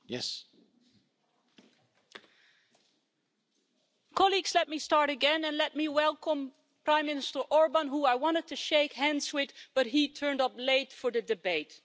Mr President, let me start again and let me welcome Prime Minister Orbán, who I wanted to shake hands with, but he turned up late for the debate.